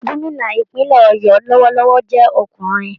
Gómìnà ìpínlẹ̀ ọ̀yọ́ lọwọlọwọ jẹ ọkùnrin.